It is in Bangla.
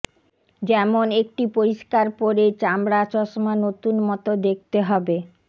যেমন একটি পরিস্কার পরে চামড়া চশমা নতুন মত দেখতে হবে